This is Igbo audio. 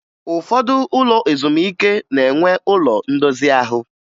Ụfọdụ ụlọ ezumike na-enwe ụlo ndozi ahụ